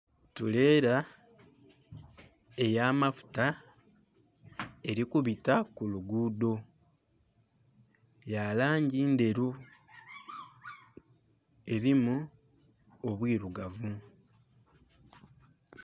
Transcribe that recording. Tureela eya mafuta eri kubita ku luguudho. Ya langi nderu. Erimu obwirugavu